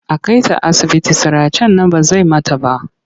A kai ta asibiti siracen nan ba zai mata ba.